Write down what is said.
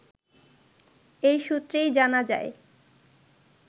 এই সূত্রেই জানা যায়